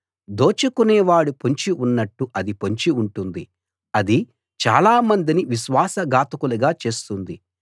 దోచుకొనేవాడు పొంచి ఉన్నట్టు అది పొంచి ఉంటుంది అది చాలా మందిని విశ్వాస ఘాతకులుగా చేస్తుంది